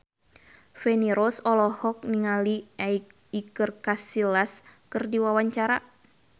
Feni Rose olohok ningali Iker Casillas keur diwawancara